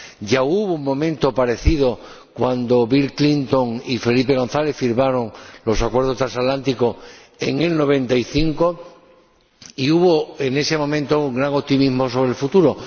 Ya hubo un momento parecido, cuando Bill Clinton y Felipe González firmaron los Acuerdos transatlánticos en 1995 y hubo, en ese momento, un gran optimismo sobre el futuro.